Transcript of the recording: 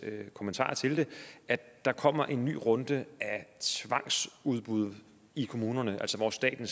kommentarer til det at der kommer en ny runde af tvangsudbud i kommunerne hvor staten